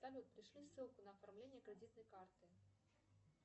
салют пришли ссылку на оформление кредитной карты